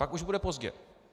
Pak už bude pozdě.